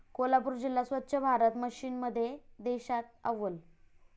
कोल्हापूर जिल्हा स्वच्छ भारत मिशनमध्ये देशात अव्वल